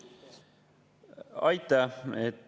Aitäh!